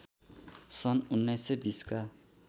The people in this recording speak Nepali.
सन् १९२० का